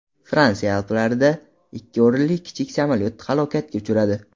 Fransiya Alplarida ikki o‘rinli kichik samolyot halokatga uchradi.